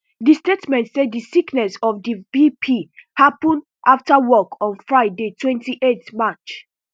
di statement say di sickness of di vp happun afta work on friday twenty-eight march